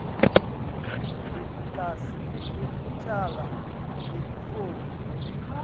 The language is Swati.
nelikhasi lekucala lelifomu